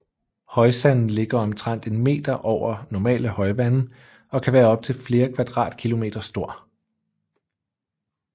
Højsande ligger omtrent en meter over normale højvande og kan være op til flere kvadratkilometer stor